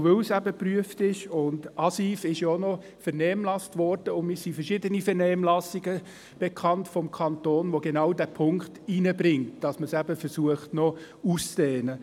Die ASIV war ja auch noch in der Vernehmlassung, und mir sind verschiedene Vernehmlassungsstellungnahmen des Kantons bekannt, die genau diesen Punkt einbringen: Dass man eben versucht, die Vorgaben noch auszudehnen.